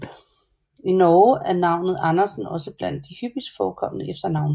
I Norge er navnet Andersen også blandt de hyppigst forekommende efternavne